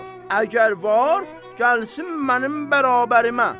Əgər var, gəlsin mənim bərabərimə.